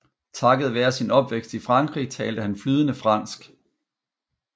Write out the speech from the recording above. Takket være sin opvækst i Frankrig talte han flydende fransk